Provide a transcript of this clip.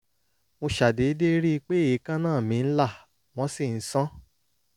mo ṣàdédé rí i pé èékánná mi ń là wọ́n sì ń sán